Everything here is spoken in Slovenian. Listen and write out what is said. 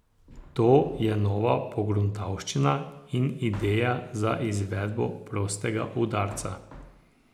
To je nova pogruntavščina in ideja za izvedbo prostega udarca.